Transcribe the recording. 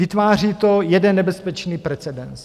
Vytváří to jeden nebezpečný precedens.